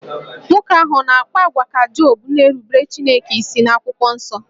Nwoke ahụ ọ̀ ga-akpa àgwà ka Job na-erubere Chineke isi n'akwụkwọ nsọ?